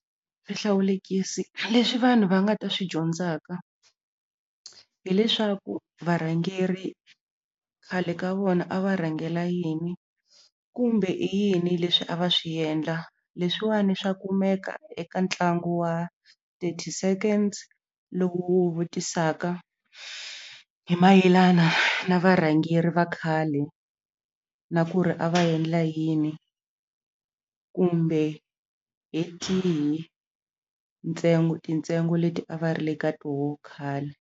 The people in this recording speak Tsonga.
Swihlawulekisi leswi vanhu va nga ta swi dyondzaka hileswaku varhangeri khale ka vona a va rhangela yini kumbe i yini leswi a va swi endla leswiwani swa kumeka eka ntlangu wa thirty seconds lowu wu vutisaka hi mayelana na varhangeri va khale na ku ri a va endla yini kumbe hi tihi ntsengo tintsengo leti a va ri le ka toho khale.